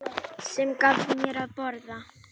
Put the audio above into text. Sem gaf mér að borða.